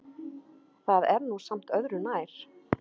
Það er nú samt öðru nær.